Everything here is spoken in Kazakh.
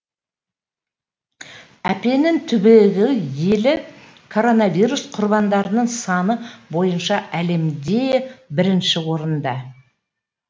аппенин түбегі елі коронавирус құрбандарының саны бойынша әлемде бірінші орында